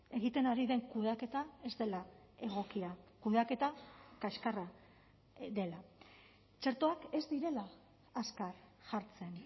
egiten ari den kudeaketa ez dela egokia kudeaketa kaxkarra dela txertoak ez direla azkar jartzen